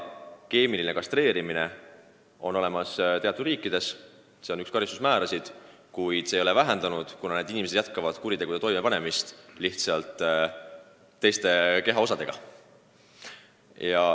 Keemiline kastreerimine on teatud riikides üks karistusi, kuid see ei ole probleemi vähendanud, kuna need inimesed jätkavad kuritegude toimepanemist, kasutades lihtsalt teisi kehaosi.